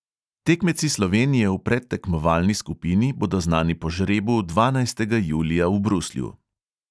Tekmeci slovenije v predtekmovalni skupini bodo znani po žrebu dvanajstega julija v bruslju.